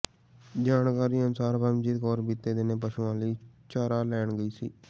ਜਾਣਕਾਰੀ ਅਨੁਸਾਰ ਪਰਮਜੀਤ ਕੌਰ ਬੀਤੇ ਦਿਨੀਂ ਪਸ਼ੂਆਂ ਲਈ ਚਾਰਾ ਲੈਣ ਗਈ ਸੀ